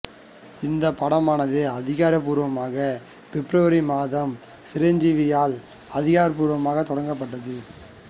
இந்த படமானது அதிகாரப்பூர்வமாக பெப்ரவரி மாதம் சிரஞ்சீவியால் அதிகாரப்பூர்வமாக தொடங்கப்பட்டது